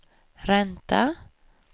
ränta